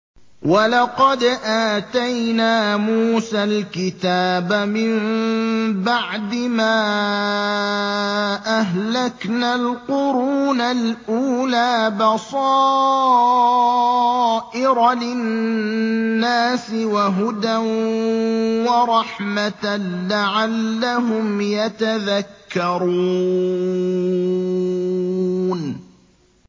وَلَقَدْ آتَيْنَا مُوسَى الْكِتَابَ مِن بَعْدِ مَا أَهْلَكْنَا الْقُرُونَ الْأُولَىٰ بَصَائِرَ لِلنَّاسِ وَهُدًى وَرَحْمَةً لَّعَلَّهُمْ يَتَذَكَّرُونَ